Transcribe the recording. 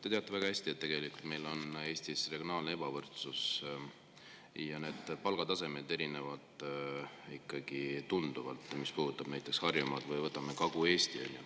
Te teate väga hästi, et meil on Eestis regionaalne ebavõrdsus ja palgatasemed erinevad ikkagi tunduvalt, kui me vaatame näiteks Harjumaad ja Kagu-Eestit.